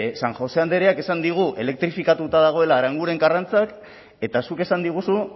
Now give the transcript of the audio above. san josé andreak esan digu elektrifikatuta dagoela aranguren karrantza eta zuk esan diguzu